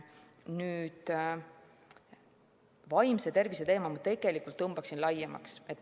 Ma tõmbaksin vaimse tervise teema tegelikult laiemaks.